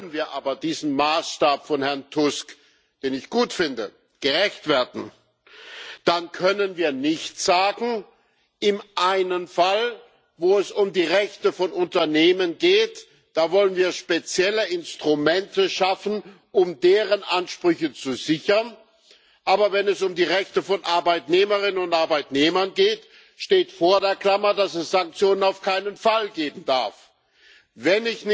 Wollen wir aber diesen Maßstab von Herrn Tusk, den ich gut finde, gerecht werden, dann können wir nicht sagen, dass wir im einen Fall, wo es um die Rechte von Unternehmen geht, spezielle Instrumente schaffen wollen, um deren Ansprüche zu sichern, aber wenn es um die Rechte von Arbeitnehmerinnen und Arbeitnehmern geht, steht vor der Klammer, dass es auf keinen Fall Sanktionen geben darf.